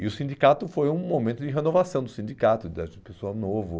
E o sindicato foi um momento de renovação do sindicato, de pessoa nova.